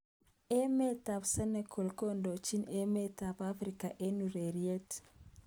Emet ab Senegal kondojin emet ab Afrika eng ureriet.